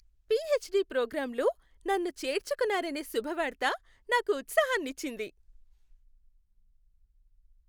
PhD ప్రోగ్రామ్లో నన్ను చేర్చుకున్నారనే శుభవార్త నాకు ఉత్సాహానిచ్చింది.